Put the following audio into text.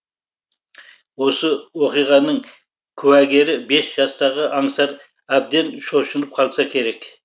осы оқиғаның куәгері бес жастағы аңсар әбден шошынып қалса керек